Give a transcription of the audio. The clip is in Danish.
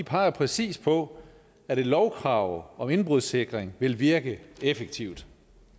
peger præcis på at et lovkrav om indbrudssikring vil virke effektivt